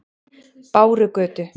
Bárugötu